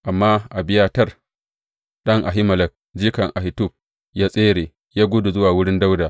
Amma Abiyatar ɗan Ahimelek jikan Ahitub ya tsere, ya gudu zuwa wurin Dawuda.